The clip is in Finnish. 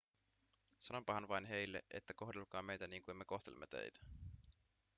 sanonpahan vain heille että kohdelkaa meitä niin kuin me kohtelemme teitä